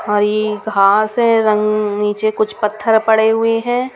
हरी घास है रंग नीचे कुछ पत्थर पड़े हुए हैं.